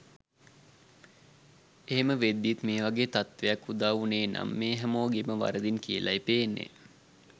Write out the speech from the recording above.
එහෙම වෙද්දිත් මේවගේ තත්වයක් උදාවුනේනම් මේ හැමෝගෙම වරදින් කියලයි පේන්නෙ.